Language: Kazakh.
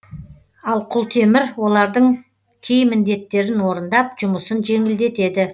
ал құлтемір олардың кей міндеттерін орындап жұмысын жеңілдетеді